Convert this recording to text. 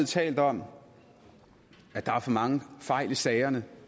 talt om at der er for mange fejl i sagerne